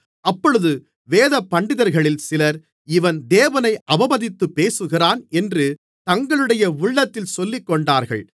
அப்பொழுது வேதபண்டிதர்களில் சிலர் இவன் தேவனை அவமதித்துப் பேசுகிறான் என்று தங்களுடைய உள்ளத்தில் சொல்லிக்கொண்டார்கள்